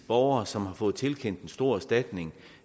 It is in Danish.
borgere som har fået tilkendt en stor erstatning